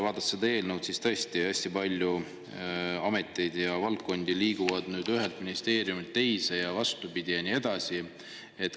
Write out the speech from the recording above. Vaadates seda eelnõu, on näha, et tõesti hästi palju ameteid ja valdkondi liigub nüüd ühest ministeeriumist teise ja nii edasi.